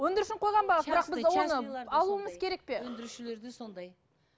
өндірушінің қойған бағасы алуымыз керек пе өндірушілерде сондай